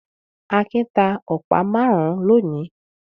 Akin ta ọ̀pá márùn-ún lónìí?